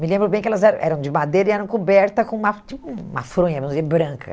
Me lembro bem que elas eram eram de madeira e eram cobertas com uma tipo uma fronha vamos dizer branca.